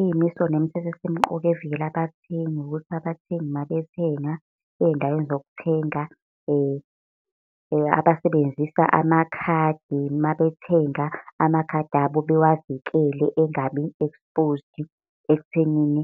Iy'miso nemithetho esemqoka evikela abathengi ukuthi abathengi mabethenga eyndaweni zokuthenga. Abasebenzisa amakhadi mabethenga amakhadi abo bewavikele engabi-exposed ekuthenini